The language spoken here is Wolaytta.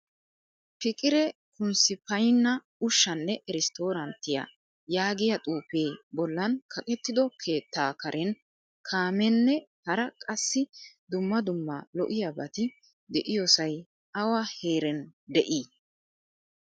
Fiqire kunsipaygna ushshanne irestoranttiyaa yaagiyaa xuufe bollan kaqettido keettaa karen kaamenen hara qassi dumma dumma lo'iyabatti deiyosay awaa heerena de'i?